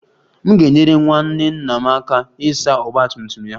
M ga-enyere nwanne nna m aka ịsa ọgba tum tum ya